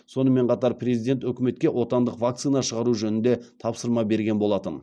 сонымен қатар президент үкіметке отандық вакцина шығару жөнінде тапсырма берген болатын